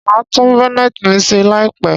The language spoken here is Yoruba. Màá tún Bonnet mi ṣe láìpẹ̀